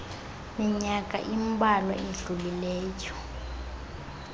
minyaka imbalwa idlulileyo